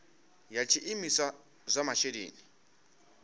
ya tshiimiswa tsha zwa masheleni